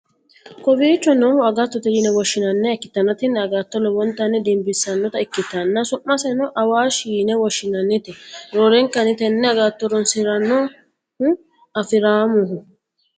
kowiicho noohu agattote yine woshhsi'nanniha ikkitanna, tini agattono lowontanni dinbissannota ikkitanna, su'maseno awaashe yine woshshi'nannite, roorenkanni tenne agatto horonsi'rannohu afi'rammoho.